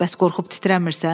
Bəs qorxub titrənmirsən?